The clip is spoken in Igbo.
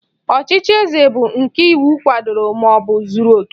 Ọchịchị eze bu nke iwu kwadoro maọbụ zuru oke